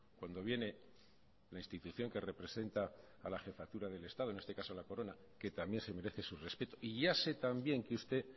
cuando viene la institución que representa a la jefatura del estado en este caso la corona que también se merece su respeto y ya sé también que usted